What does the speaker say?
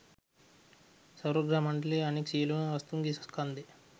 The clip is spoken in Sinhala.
සෞරග්‍රහ මණ්ඩලයේ අනෙක් සියළුම වස්තූන්ගේ ස්කන්ධ